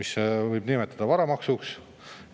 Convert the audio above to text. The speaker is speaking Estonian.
Seda võib nimetada varamaksuks.